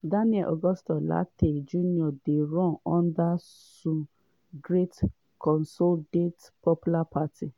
daniel augustus lartey jnr dey run under su great consolidate popular party.